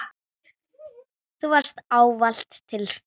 Þú varst ávallt til staðar.